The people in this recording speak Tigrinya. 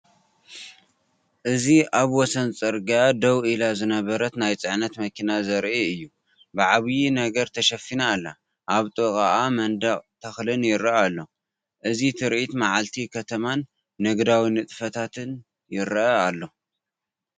እዚ ኣብ ወሰን ጽርግያ ደው ኢላ ዝነበረት ናይ ጽዕነት መኪና ዘርኢ እዩ። ብዓቢይ ነገር ተሸፊና ኣላ። ኣብ ጥቓኡ መንደቕን ተክልን ይርአ ኣሎ፣ እዚ ትርኢት መዓልቲ ከተማን ንግዳዊ ንጥፈታትን ይርአ ኣሎ።